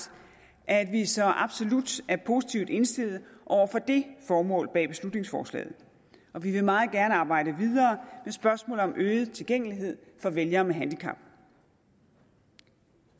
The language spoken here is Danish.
at vi så absolut er positivt indstillet over for det formål bag beslutningsforslaget og vi vil meget gerne arbejde videre med spørgsmålet om øget tilgængelighed for vælgere med handicap